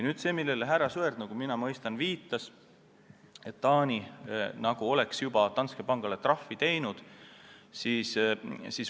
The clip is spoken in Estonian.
Nagu ma mõistan, härra Sõerd viitas, et Taani nagu juba on Danske pangale trahvi teinud.